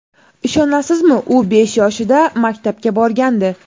Ishonasizmi, u besh yoshida maktabga borgandi.